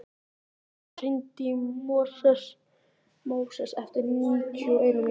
Friðmann, hringdu í Móses eftir níutíu og eina mínútur.